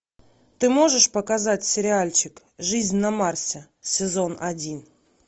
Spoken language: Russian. ты можешь показать сериальчик жизнь на марсе сезон один